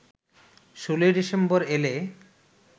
১৬ December এলে